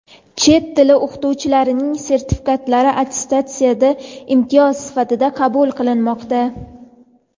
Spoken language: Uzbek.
Chet tili o‘qituvchilarining sertifikatlari attestatsiyada imtiyoz sifatida qabul qilinmoqda.